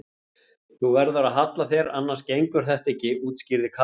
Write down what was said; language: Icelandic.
Þú verður að halla þér annars gengur þetta ekki útskýrði Kata.